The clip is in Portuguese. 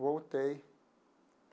Voltei.